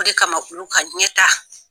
O de kama kulu ka ɲɛ ta